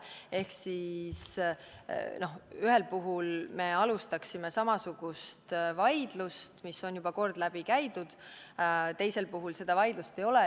Ehk ühel puhul me alustaksime samasugust vaidlust, mis on juba kord läbi käidud, teisel puhul seda vaidlust ei ole.